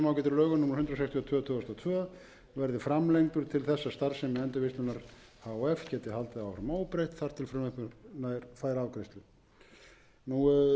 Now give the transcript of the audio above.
og tvö verði framlengdur til þess að starfsemi endurvinnslunnar h f geti haldið áfram óbreytt þar til frumvarpið fær afgreiðslu við leggjum til að gildistími þessa ákvæðis verði framlengdur um